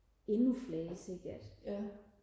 endnu flere sikkert